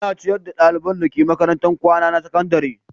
Ana ciyar da ɗaliban dake makarantar kwana ta sakandare.